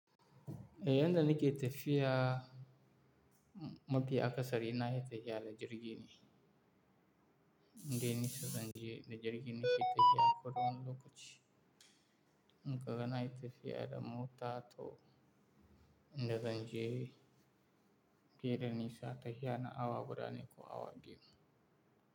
Eh yadda nake tafiya, mafi akasari na yi tafiya na jirgi ne, indai nesa zanje da jirgi nake, tafiya koda wani lokaci. In ka ga na yi tafiya da mota to inda zan je baida nisa, tafiya na awa guda ne ko awa biyu.